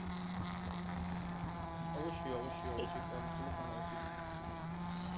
অবশ্যই অবশ্যই অবশ্যই control এ তো আনা উচিৎ